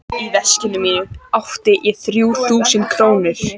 Í veskinu mínu átti ég þrjú þúsund krónur.